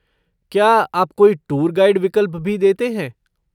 क्या आप कोई टूर गाइड विकल्प भी देते हैं?